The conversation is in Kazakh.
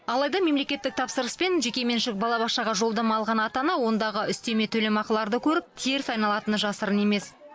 алайда мемлекеттік тапсырыспен жекеменшік балабақшаға жолдама алған ата ана ондағы үстеме төлемақыларды көріп теріс айналатыны жасырын емес